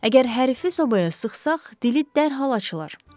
Əgər hərifi sobaya sıxsaq, dili dərhal açılar.